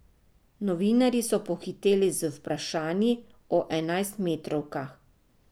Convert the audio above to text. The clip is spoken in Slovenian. Novinarji so pohiteli z vprašanji o enajstmetrovkah.